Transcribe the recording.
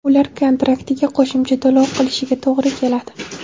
ular kontraktiga qo‘shimcha to‘lov qilishiga to‘g‘ri keladi.